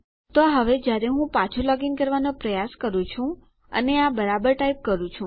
તો હવે જયારે હું પાછું લોગીન કરવાનો પ્રયાસ કરું છું અને આ બરાબર ટાઈપ કરું છું